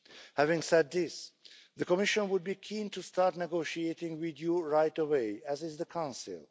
Having said this, the Commission would be keen to start negotiating with you right away, as is the Council.